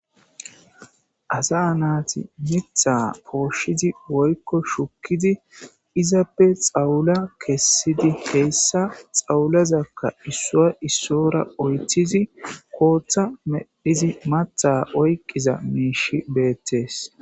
asa naati mitha pooshidi woykko shukkidi izappe xawula kessidi heyissa xawulazakka issuwa issora oythizi kooththa medhizi matha oyqqiza miishi beettees